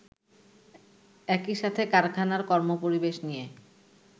একইসাথে কারখানার কর্মপরিবেশ নিয়ে